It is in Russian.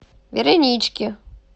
веронички